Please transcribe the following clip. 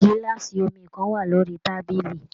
Gilaasi omí kan wà lórí tábìlì.